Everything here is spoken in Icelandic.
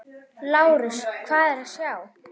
LÁRUS: Hvað er að sjá?